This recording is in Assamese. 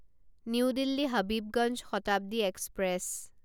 new Delhi Habibganj Shatabdi express